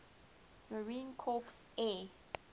marine corps air